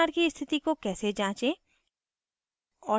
pnr की स्थिति को कैसे जाँचें